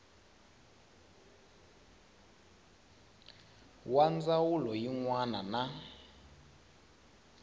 wa dyondzo yin wana na